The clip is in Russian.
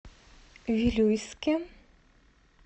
вилюйске